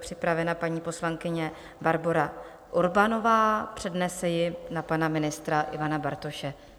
připravena paní poslankyně Barbora Urbanová, přednese ji na pana ministra Ivana Bartoše.